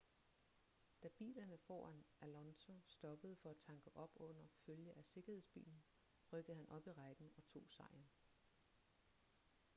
da bilerne foran alonso stoppede for at tanke op under følge af sikkerhedsbilen rykkede han op i rækken og tog sejren